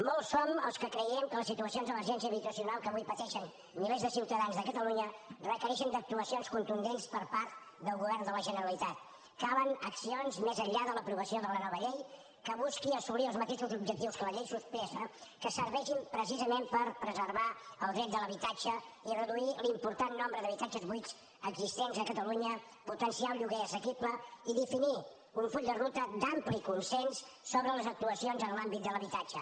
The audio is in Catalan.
molts som els que creiem que les situacions d’emergència habitacional que avui pateixen milers de ciutadans de catalunya requereixen actuacions contundents per part del govern de la generalitat calen accions més enllà de l’aprovació de la nova llei que busquin assolir els mateixos objectius que la llei suspesa que serveixin precisament per preservar el dret de l’habitatge i reduir l’important nombre d’habitatges buits existents a catalunya potenciar el lloguer assequible i definir un full de ruta d’ampli consens sobre les actuacions en l’àmbit de l’habitatge